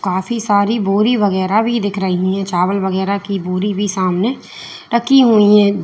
काफी सारी बोरी वगैरा भी दिख रही है चावल वगैरा की बोरी भी सामने रखी हुई है।